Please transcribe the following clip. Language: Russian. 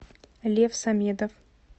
лев самедов